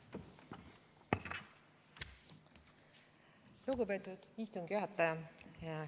Lugupeetud istungi juhataja!